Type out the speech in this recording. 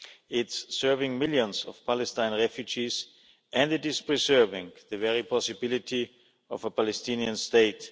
It is serving millions of Palestine refugees and preserving the very possibility of a Palestinian state.